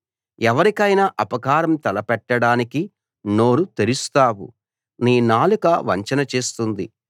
ఎవరికైనా అపకారం తలపెట్టడానికి నోరు తెరుస్తావు నీ నాలుక వంచన చేస్తుంది